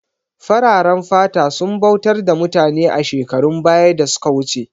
Fararen fata sun bautar da mutane a shekarun baya da suka wuce